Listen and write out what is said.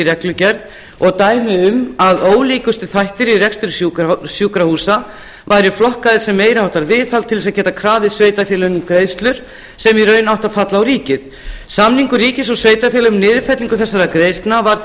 reglugerð og dæmi um að ólíkustu þættir í rekstri sjúkrahúsa væru flokkaðir sem meiri háttar viðhald til að geta krafið sveitarfélögin um greiðslur sem í raun áttu að falla á ríkið samningur ríkis og sveitarfélaga um niðurfellingu þessara greiðslna var